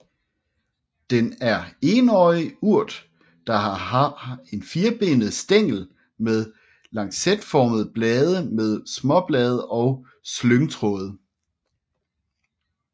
Den er enårig urt der har en firkantet stængel med lancetformede blade med småblade og slyngtråde